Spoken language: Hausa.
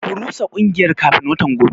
Ku rusa kungiyar kafin watan gobe.